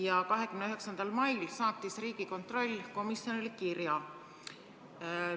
Ja 29. mail saatis Riigikontroll komisjonile kirja.